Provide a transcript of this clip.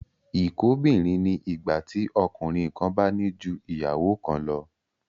Ìkóbìnrin ni ìgbà tí ọkùnrin kan bá ní ju ìyàwó kan lọ